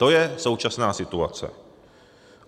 To je současná situace.